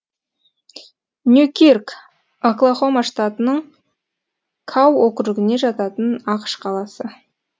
ньюкирк оклахома штатының кау округіне жататын ақш қаласы